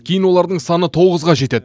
кейін олардың саны тоғызға жетеді